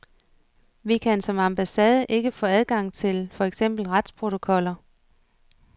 Vi kan som ambassade ikke få adgang til for eksempel retsprotokoller.